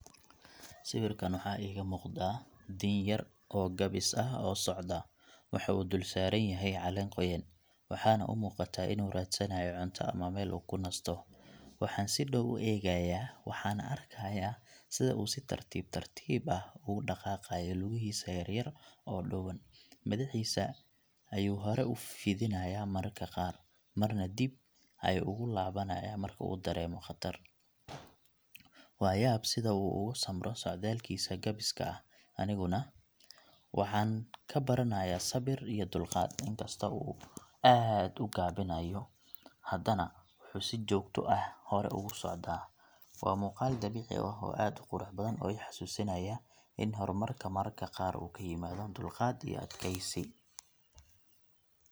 Sawirkan waxaa iiga muuqda diin yar oo gaabis ah u socda. Waxa uu dul saaran yahay caleen qoyan, waxaana u muuqataa inuu raadsanayo cunto ama meel uu ka nasto. Waxaan si dhow u eegayaa, waxaana arkayaa sida uu si tartiib tartiib ah ugu dhaqaqayo lugihiisa yar yar oo dhuuban. Madaxdiisa ayuu hore u fidinayaa mararka qaar, marna dib ayuu ugu laabanayaa marka uu dareemo khatar. Waa yaab sida uu uga samro socdaalkiisa gabiska ah, aniguna waxaan ka baranayaa sabir iyo dulqaad. Inkastoo uu aad u gaabinayo, hadana wuxuu si joogto ah hore ugu socdaa. Waa muuqaal dabiici ah oo aad u qurux badan oo i xasuusinaya in horumarka mararka qaar uu ku yimaado dulqaad iyo adkeysi.